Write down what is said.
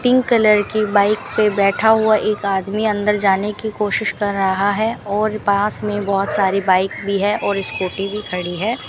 Pink colour की bike पे बैठा हुआ एक आदमी अंदर जाने की कोशिश कर रहा है और पास में बहोत सारी बाइक भी है और स्कूटी भी खड़ी है।